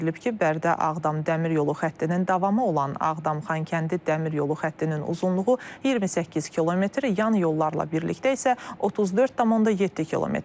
Bildirilib ki, Bərdə-Ağdam dəmir yolu xəttinin davamı olan Ağdam-Xankəndi dəmir yolu xəttinin uzunluğu 28 km, yan yollarla birlikdə isə 34,7 kmdir.